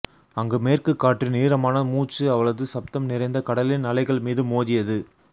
அங்கு மேற்குக் காற்றின் ஈரமான மூச்சு அவளது சப்தம் நிறைந்த கடலின் அலைகள் மீது மோதியது